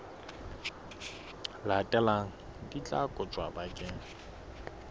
latelang di tla kotjwa bakeng